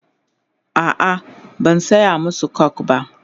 a'a ban saya masu coke ba.